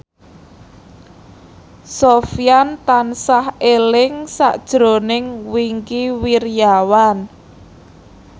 Sofyan tansah eling sakjroning Wingky Wiryawan